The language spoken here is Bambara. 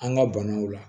An ka banaw la